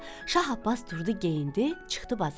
Şah Abbas durdu, geyindi, çıxdı bazara.